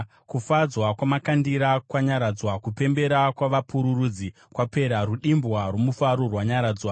Kufadza kwamakandira kwanyaradzwa, kupembera kwavapururudzi kwapera, rudimbwa rwomufaro rwanyaradzwa.